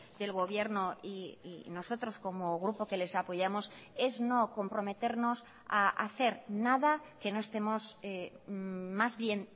del gobierno y nosotros como grupo que les apoyamos es no comprometernos a hacer nada que no estemos más bien